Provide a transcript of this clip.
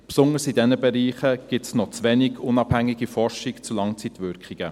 Besonders in diesen Bereichen gibt es noch zu wenig unabhängige Forschung zu Langzeitwirkungen.